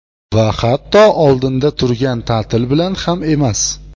Va hatto oldinda turgan ta’til bilan ham emas.